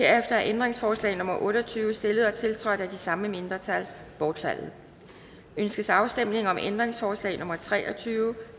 er ændringsforslag nummer otte og tyve stillet og tiltrådt af de samme mindretal bortfaldet ønskes afstemning om ændringsforslag nummer tre og tyve